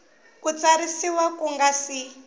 ku tsarisiwa ku nga si